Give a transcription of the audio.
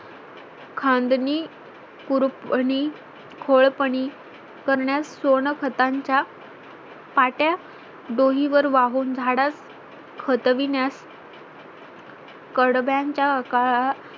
खांदणी खूरपणी खोळपणी करण्यास सोन खताचा पाट्या डोही वर वाहून झाडास खोतविण्यास कडक्याचा काळात